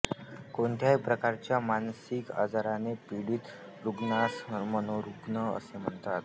कोणत्याही प्रकारच्या मानसिक आजाराने पिडीत रुग्णास मनोरुग्ण असे म्हणतात